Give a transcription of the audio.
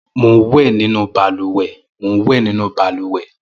Mò n wẹ̀ ninú bàlùwẹ̀